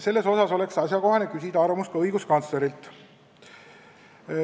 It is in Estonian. Nii et oleks asjakohane küsida ka õiguskantsleri arvamust.